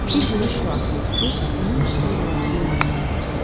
Bir günəş şüasını tutub onun işığı ilə yoluna davam etdi.